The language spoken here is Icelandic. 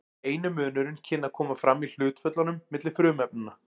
eini munurinn kynni að koma fram í hlutföllunum milli frumefnanna